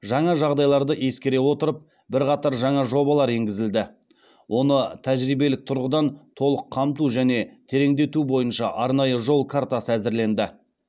жаңа жағдайларды ескере отырып бірқатар жаңа жобалар енгізілді оны тәжірибелік тұрғыдан толық қамту және тереңдету бойынша арнайы жол картасы әзірленді